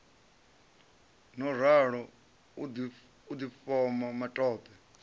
no ralo u difhoma matope